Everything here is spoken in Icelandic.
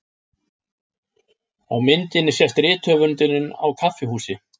Á myndinni sést rithöfundurinn á kaffihúsi.